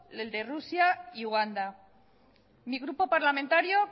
el de rusia y uganda mi grupo parlamentario